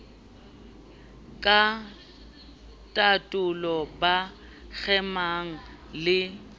ka tatolo ba kgemang le